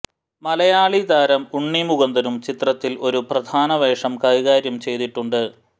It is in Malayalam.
മലയാളി താരം ഉണ്ണി മുകുന്ദനും ചിത്രത്തിൽ ഒരു പ്രധാന വേഷം കൈകാര്യം ചെയ്തിട്ടുണ്ട്